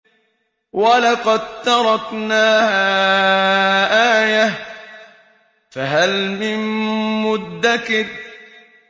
وَلَقَد تَّرَكْنَاهَا آيَةً فَهَلْ مِن مُّدَّكِرٍ